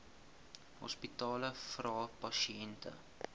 hospitale vra pasiënte